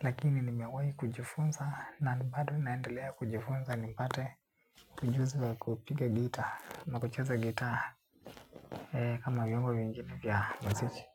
Lakini nimewayi kujifunza na bado naendelea kujifunza nipate ujuzi kupiga gitaa ma kucheza gitaa. Kama vuongo vingine vya muziki.